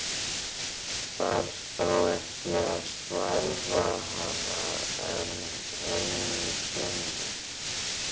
Þarf þá ekki að svæfa hana enn einu sinni?